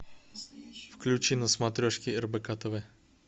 включи на смотрешке рбк тв